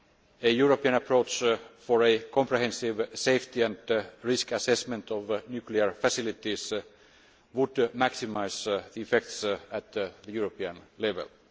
A European approach for a comprehensive safety and risk assessment of nuclear facilities would maximise the effects at the European level.